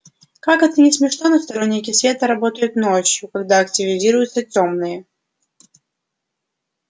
как это ни смешно но сторонники света работают ночью когда активизируются тёмные